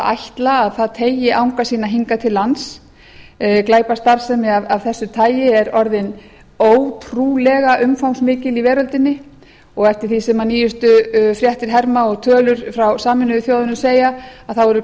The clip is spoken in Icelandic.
ætla að það teygi anga sína hingað til lands glæpastarfsemi af þessu tagi er orðin ótrúlega umfangsmikil í veröldinni og eftir því sem nýjustu fréttir herma og tölur frá sameinuðu þjóðunum segja eru